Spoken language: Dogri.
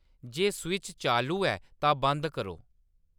जे स्विच चालू ऐ तां बंद करो